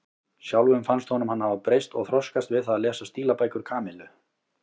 Sjálfum fannst honum hann hafa breyst og þroskast við það að lesa stílabækur Kamillu.